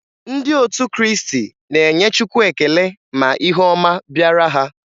Ndị otu Kriisti na-enye chukwu ekele ma ihe ọma bịara ha.